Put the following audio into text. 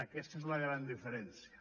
aquesta és la gran diferència